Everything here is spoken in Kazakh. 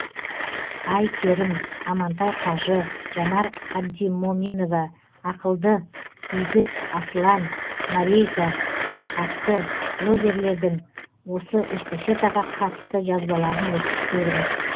ай керім амантай қажы жанар абдимоминова ақылды игіт аслан марейка атты блогерлердің осы эстафетаға қатысты жазбаларын оқып көріңіз